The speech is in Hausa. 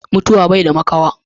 Mutuwa baida makawa.